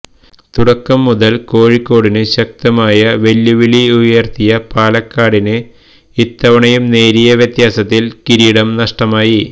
തുടക്കംമുതല് കോഴിക്കോടിന് ശക്തമായ വെല്ലുവിളിയുയര്ത്തിയ പാലക്കാടിന് ഇത്തവണയും നേരിയ വ്യത്യാസത്തിന് കിരീടം നഷ്ടമായി